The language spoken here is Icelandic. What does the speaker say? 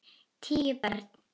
Tíu börn.